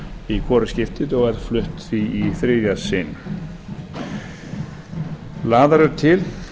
í hvorugt skiptið og er flutt því í þriðja sinn lagðar eru til